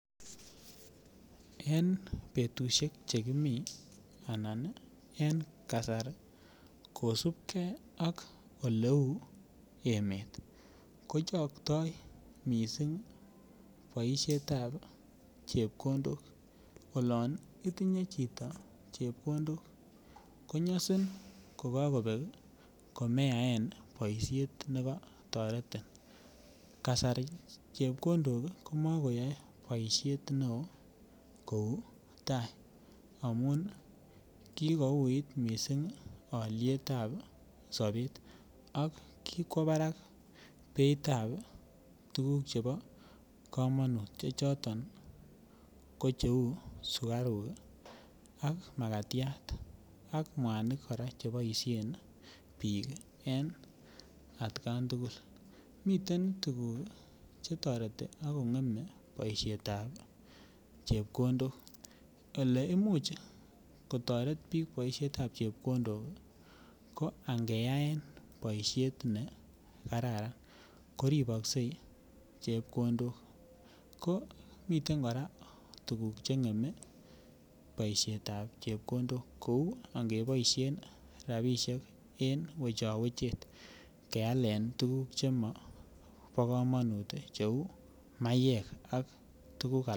En betushek chekimi anan en kasari kosibgee ak oleu emet kochokto missing boshetab chepkondok. Olon itinye chito chepkondok konyosin kokokobeb kemeyaen boishet nekotoretin, kasari chepkondok komekoyoe boishet neo kou tai amun kikouit missing olietab sobet ak kikwo barak beitab tukuk chebo komonut che choton ko cheu sukaruk kii ak makatyat ak muanik koraa cheboishen bik en atkan tukul. Miten tukuk chetoreti ak kongeme boishetab chepkondok. Oleimuch kotoret bik boishetab chepkondok kii ko ankeyaen boishet nekararan koriboksei chepkondok, ko miten koraa tukuk chengeme boishetab chepkondok kou angeboishen rabishek en wechowechet kealen tukuk chemobo komonut cheu maiyek ak tukuk ala.